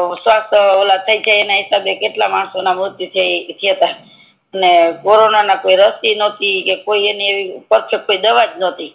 ઓલો સ્ટોક નહોતો એના લીધે કેટલા માણસો ના મૃત્યુ થી ગ્યા ને કોરોના ની કોઈ રસી નતી ને એવી કોઈ દવા જ નતી